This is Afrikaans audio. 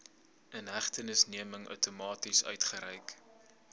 inhegtenisneming outomaties uitgereik